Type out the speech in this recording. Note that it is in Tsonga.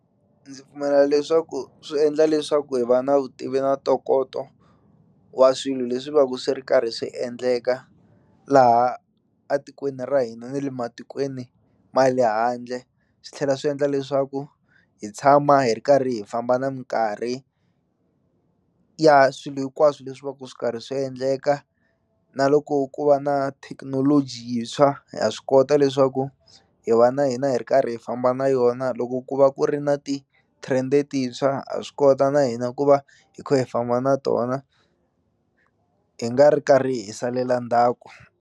Ndzi pfumela leswaku swi endla leswaku hi va na vutivi na ntokoto wa swilo leswi va ku swi ri karhi swi endleka laha a tikweni ra hina ni le matikweni ma le handle swi tlhela swi endla leswaku hi tshama hi ri karhi hi famba na minkarhi ya swilo hinkwaswo leswi va ku swi karhi swi endleka na loko ku va na thekinoloji yintshwa ha swi kota leswaku hi va na hina hi ri karhi hi famba na yona loko ku va ku ri na titrend-e tintshwa ha swi kota na hina ku va hi kha hi famba na tona hi nga ri karhi hi salela ndzhaku.